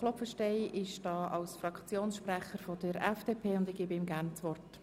Klopfenstein spricht als Fraktionssprecher der FDP und hat das Wort.